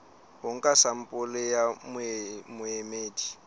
ho nka sampole ya boemedi